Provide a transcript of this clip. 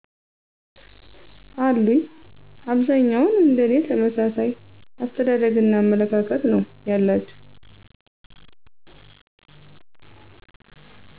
አሉኝ። አብዛኛዉን እንደኔ ተመሣሣይ አሰተዳደግና አመለካከት ነው ያላቸዉ